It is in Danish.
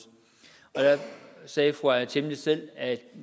og der sagde fru aaja chemnitz selv at